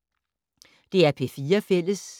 DR P4 Fælles